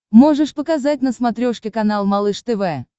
можешь показать на смотрешке канал малыш тв